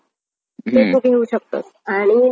घेऊ शकतो आणि ना